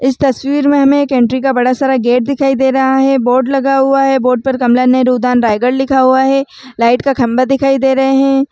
इस तस्वीर में हमें एक एंट्री का बड़ा सारा गेट दिखाई दे रहा है बोर्ड लगा हुआ है बोर्ड पर कमला नेहरू उद्यान रायगढ़ लिखा हुआ है लाइट का खंभा दिखाई दे रहे हैं।